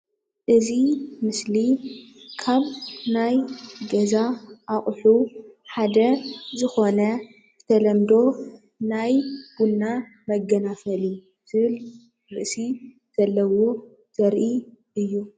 እዚ ምስሊ ካብ ናይ ገዛ ኣቅሑ ሓደ ዝኮነ ብተለምዶ ናይ ቡና መገናፈሊ ዝብል ርእሲ ዘለዎ ዘርኢ እዩ፡፡